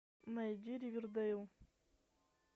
найди ривердейл